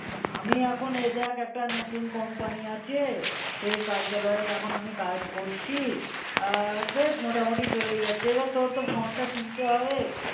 আমি এখন এ দেখ একটা নতুন company আছে, সে কার্যালয় আমি এখন আমি কাজ করছি. আর বেশ মোটামুটি চলে যাচ্ছে. এবার তোর তো ফোনটা কিনতে হবে